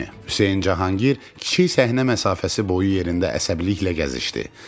Hüseyn Cahangir kiçik səhnə məsafəsi boyu yerində əsəbiliklə gəzişdi.